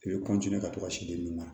I bɛ ka to ka sin di den ma